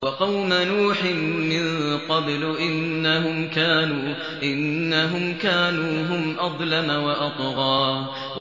وَقَوْمَ نُوحٍ مِّن قَبْلُ ۖ إِنَّهُمْ كَانُوا هُمْ أَظْلَمَ وَأَطْغَىٰ